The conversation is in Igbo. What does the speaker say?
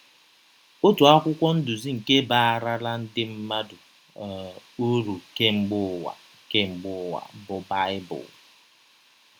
Ọtụ akwụkwọ ndụzi nke baarala ndị mmadụ um ụrụ kemgbe ụwa kemgbe ụwa bụ Baịbụl.